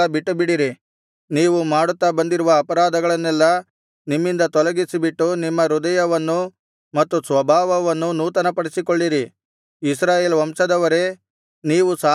ನೀವು ಮಾಡುತ್ತಾ ಬಂದಿರುವ ಅಪರಾಧಗಳನ್ನೆಲ್ಲಾ ನಿಮ್ಮಿಂದ ತೊಲಗಿಸಿಬಿಟ್ಟು ನಿಮ್ಮ ಹೃದಯವನ್ನೂ ಮತ್ತು ಸ್ವಭಾವವನ್ನೂ ನೂತನಪಡಿಸಿಕೊಳ್ಳಿರಿ ಇಸ್ರಾಯೇಲ್ ವಂಶದವರೇ ನೀವು ಸಾಯಬೇಕೇ